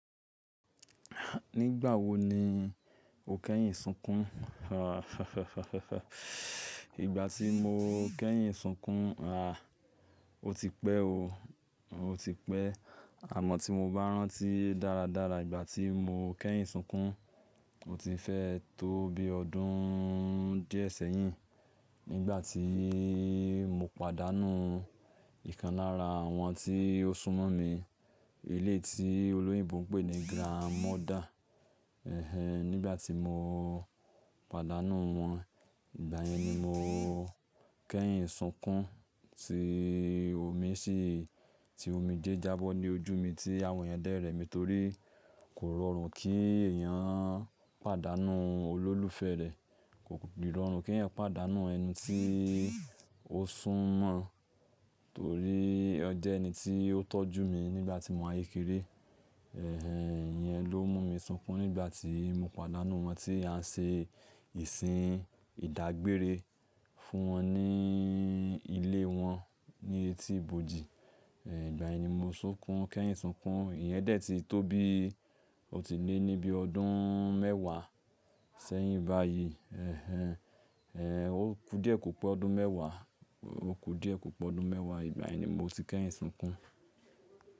Nígbà wo ni o kẹ́yìn sunkún? Ìgbà tí mo kẹ́yìn sunkún, àá o ti pẹ́ o, o ti pẹ́. Àmọ́ tí mo bá rántí dáradára ìgbà tí mo kẹ́yìn sunkún, ó ti fẹ́ tó bí ọdún díẹ̀ sẹ́yìn nígbà tí mo pàdánù ìkan lára àwọn tí ó súnmọ́ mi. Éleyi tí olóyinbo n pé ní grandmother. Ẹ̀hẹn, nígbà tí mo pàdánù wọn, ìgbà yẹn ni mo kẹ́yìn sunkún tí omi sì, tí omijé jábọ́ ní ojú mi tí àwọn yẹn dẹ́ rẹ̀ mi torí kò rọrùn kí èèyàn pàdánù olólùfẹ́ rẹ̀. Kò rọrùn kí ẹyan pàdánù ẹni tí o súnmọ́, torí ọ jẹ́ ẹni tí ó tọ́jú mi nígbà tí mo ayékeré. Ẹ̀hẹn, ìyẹn ló mú mi sunkún nígbà tí mo pàdánù wọn tí à ń ṣe ìsìn ìdágbére fún wọn ní ilé wọn ní etíbòji. Ẹ̀hẹn, ìgbà yẹn ni mo sunkún, kẹ́yìn sunkún. Ìyẹn dẹ̀ ti tó bí ó ti lé ní bí ọdún mẹ́wàá sẹ́yìn báyìí. Ẹ̀hẹn, o ku díẹ̀ kò pọ̀ ọdún mẹ́wàá, o ku díẹ̀ kò pọ̀ ọdún mẹ́wàá. Ìgbà yẹn ni mo ti kẹ́yìn sunkún.